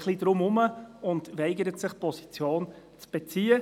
Er eiert ein bisschen herum und weigert sich, Position zu beziehen.